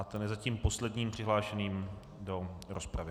A ten je zatím posledním přihlášený do rozpravy.